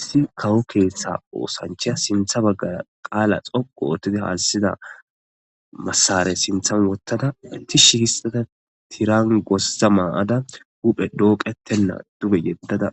Issi kawo keeththa oosancha sintha baggara qaala xoqu oottidi haassida massarey sinthan wottada ti shi kissada tirangosza maa'ada huphe dooqettenna dube yeddada